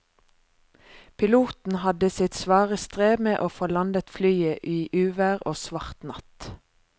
Piloten hadde sitt svare strev med å få landet flyet i uvær og svart natt.